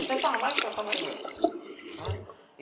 Eu sempre estava mais com o pessoal mais velho.